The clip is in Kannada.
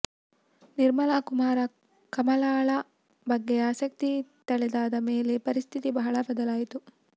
ನಿರ್ಮಲ ಕುಮಾರ ಕಮಲಾಳ ಬಗ್ಗೆ ಆಸಕ್ತಿ ತಳೆದಾದ ಮೇಲೆ ಪರಿಸ್ಥಿತಿ ಬಹಳ ಬದಲಾಯಿತು